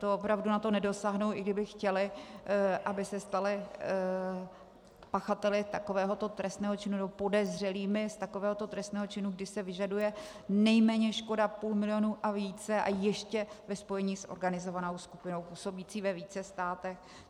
To opravdu na to nedosáhnou, i kdyby chtěli, aby se stali pachateli takovéhoto trestného činu, nebo podezřelými z takovéhoto trestného činu, když se vyžaduje nejméně škoda půl milionu a více a ještě ve spojení s organizovanou skupinou působící ve více státech.